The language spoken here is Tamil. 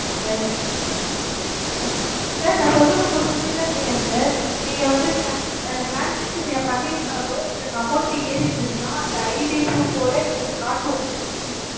sir sir நான் சொல்றது உங்களுக்குப் புரியுதா இல்லையா sir? நீங்க வந்து trans~ அஹ் transaction நீங்கப் பண்ணி இருந்தாலோ எங்களுக்கு amount ஏறி இருந்துச்சுன்னா அந்த ID proof ஓட எங்களுக்குக் காட்டும். இ~